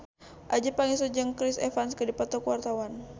Adjie Pangestu jeung Chris Evans keur dipoto ku wartawan